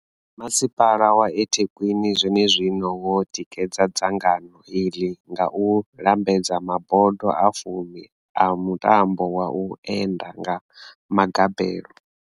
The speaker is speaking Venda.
Masipala wa eThekwini zwenezwino wo tikedza dzangano iḽi nga u lambedza mabodo a fumi a mutambo wa u enda nga magabelo.